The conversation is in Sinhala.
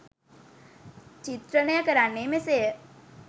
චිත්‍රණය කරන්නේ මෙසේය